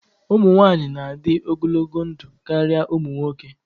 Ụmụ nwanyị na-adị ogologo ndụ karịa ụmụ nwoke